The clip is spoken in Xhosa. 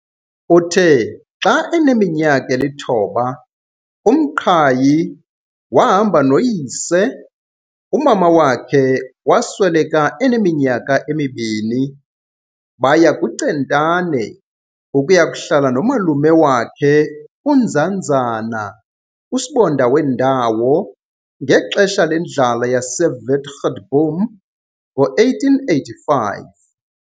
Uthe xa eneminyaka elithoba, uMqhayi wahamba noyise, umama wakhe wasweleka eneminyaka emibini, baya kuCentane ukuya kuhlala nomalume wakhe uNzanzana, usibonda wendawo, ngexesha lendlala yaseWitgatboom ngo-1885.